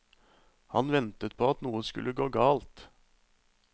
Han ventet på at noe skulle gå galt.